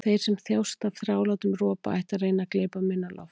Þeir sem þjást af þrálátum ropa ættu að reyna að gleypa minna loft.